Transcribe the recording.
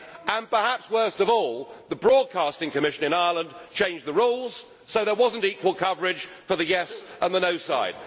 and, perhaps worst of all, the Broadcasting Commission in Ireland changed the rules, so there was not equal coverage for the yes' and the no' sides.